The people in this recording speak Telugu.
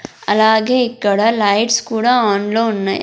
అలాగే ఇక్కడ లైట్స్ కూడా ఆన్లో ఉన్నాయ్.